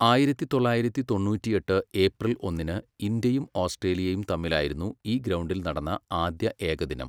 ആയിരത്തി തൊള്ളായിരത്തി തൊണ്ണൂറ്റിയെട്ട് ഏപ്രിൽ ഒന്നിന് ഇന്ത്യയും ഓസ്ട്രേലിയയും തമ്മിലായിരുന്നു ഈ ഗ്രൗണ്ടിൽ നടന്ന ആദ്യ ഏകദിനം.